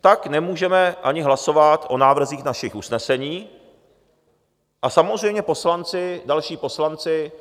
tak nemůžeme ani hlasovat o návrzích našich usnesení a samozřejmě poslanci, další poslanci